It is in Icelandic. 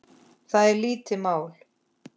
Það er lítið mál.